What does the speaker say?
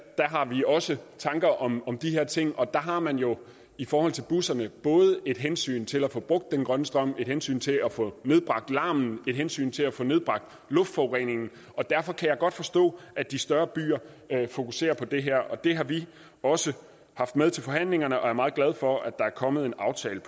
har vi også tanker om om de her ting og der har man jo i forhold til busserne både et hensyn til at få brugt den grønne strøm et hensyn til at få nedbragt larmen et hensyn til at få nedbragt luftforureningen og derfor kan jeg godt forstå at de større byer fokuserer på det her det har vi også haft med til forhandlingerne og vi er meget glade for at der er kommet en aftale